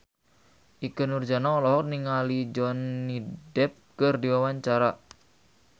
Ikke Nurjanah olohok ningali Johnny Depp keur diwawancara